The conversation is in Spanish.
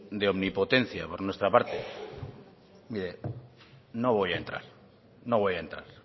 de omnipotencia por nuestra parte mire no voy a entrar no voy a entrar